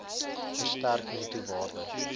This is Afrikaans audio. verstrek netto waarde